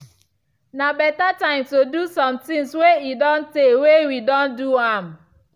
na beta time to do somethings way e don tay way we don do am.